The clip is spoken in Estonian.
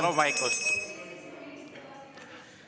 Palun vaikust!